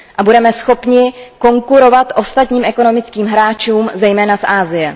A budeme schopni konkurovat ostatním ekonomickým hráčům, zejména z Asie.